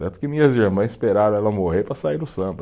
Tanto que minhas irmãs esperaram ela morrer para sair no samba.